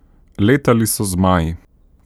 Letali so z zmaji.